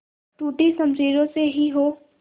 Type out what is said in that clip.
टूटी शमशीरों से ही हो